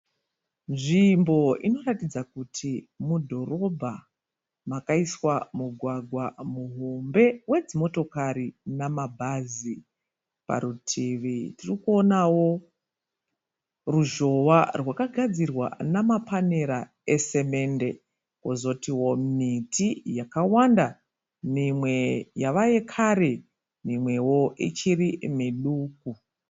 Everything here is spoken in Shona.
Nzvimbo inoratidza kuti mudhorobha makaiswa mugwagwa muhombe wedzi motokari nambhazi, parutivi tirikuonawo ruzhowa rwakagadzira namapanera esemende kozoti miti yakawanda mimwe yava yekare mimwewo ichiri miduku.